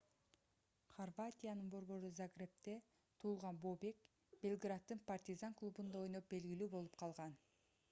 хорватиянын борбору загребде туулган бобек белграддын партизан клубунда ойноп белгилүү болуп калган